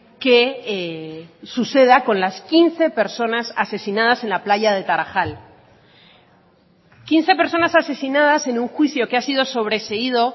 que suceda con las quince personas asesinadas en la playa de tarajal quince personas asesinadas en un juicio que ha sido sobreseído